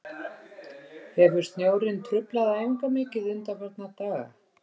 Hefur snjórinn truflað æfingar mikið undanfarna daga?